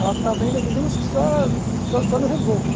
ela estava ainda, digamos que só só só no reboco.